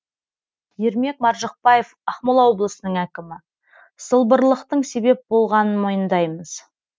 ермек маржықпаев ақмола облысының әкімі сылбырлықтың себеп болғанын мойындаймыз